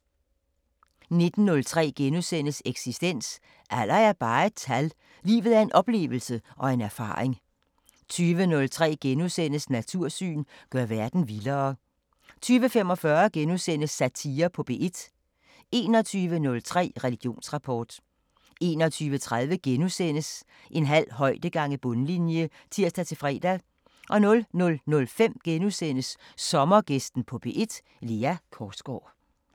19:03: Eksistens: Alder er bare et tal – livet er en oplevelse og en erfaring * 20:03: Natursyn: Gør verden vildere * 20:45: Satire på P1 * 21:03: Religionsrapport 21:30: En halv højde gange bundlinje *(tir-fre) 00:05: Sommergæsten på P1: Lea Korsgaard *